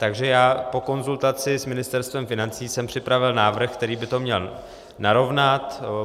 Takže já po konzultaci s Ministerstvem financí jsem připravil návrh, který by to měl narovnat.